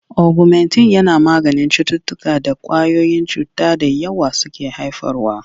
Ogumentin yana maganin cututtukan da ƙwayoyin cuta da yawa suke haifarwa.